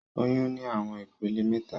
Oyun ni awọn ipele mẹta.